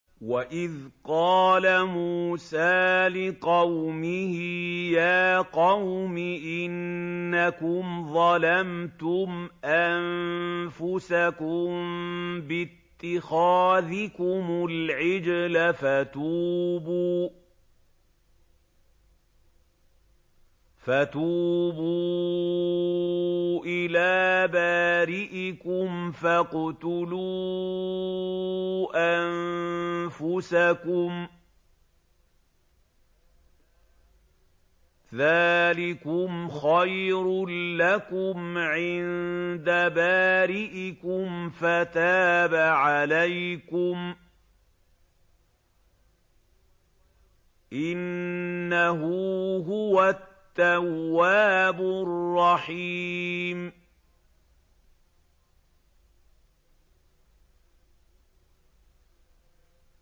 وَإِذْ قَالَ مُوسَىٰ لِقَوْمِهِ يَا قَوْمِ إِنَّكُمْ ظَلَمْتُمْ أَنفُسَكُم بِاتِّخَاذِكُمُ الْعِجْلَ فَتُوبُوا إِلَىٰ بَارِئِكُمْ فَاقْتُلُوا أَنفُسَكُمْ ذَٰلِكُمْ خَيْرٌ لَّكُمْ عِندَ بَارِئِكُمْ فَتَابَ عَلَيْكُمْ ۚ إِنَّهُ هُوَ التَّوَّابُ الرَّحِيمُ